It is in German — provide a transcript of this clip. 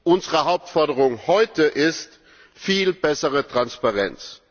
Unsere Hauptforderung heute ist Viel bessere Transparenz!